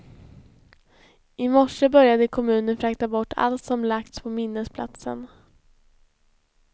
I morse började kommunen frakta bort allt som lagts på minnesplatsen.